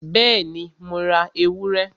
Bẹ́ẹ̀ni, Mo ra ewúrẹ?